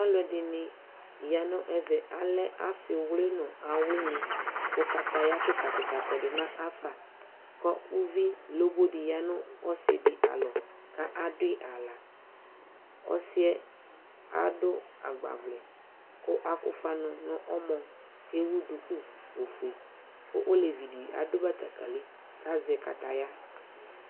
Alu ɛɗɩnɩ ayanu ɛmɛ, asɩwlɩ nu awlɩnɩ ƙu ƙataƴa ƙɩƙaƙɩƙa ɔƙɔɗunafa ƙu uʋɩ loboɗɩ oyanu ɔsɩɗɩ alɔ ƙu aɗuƴɩ aɣla ɔsɩƴɛ aƙɔ agbaʋlɛ ƙu aɗufa nu ɔmɔ ƙu ewu ɗuƙu ofue ƙu oleʋiɗɩ aɗu ɓataƙalɩ ƙu azɛ kataƴa